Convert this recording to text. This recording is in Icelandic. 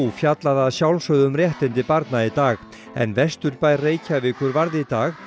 fjallaði að sjálfsögðu um réttindi barna í dag en vesturbær Reykjavíkur varð í dag